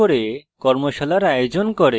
tutorials ব্যবহার করে কর্মশালার আয়োজন করে